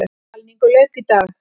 Talningu lauk í dag.